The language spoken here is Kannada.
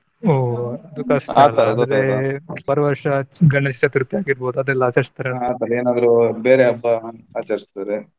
ಓ ಅದು ಕಷ್ಟ ಬರುವ ವರ್ಷ Ganesh Chaturthi ಹಾಗಿರ್ಬೋದು ಅದೆಲ್ಲ ಎಲ್ಲ ಅಚ್ಚರಿಸದರೆ ಏನಾದ್ರು ಬೇರೆ ಹಬ್ಬ ಆಚರಿಸಿದರೆ.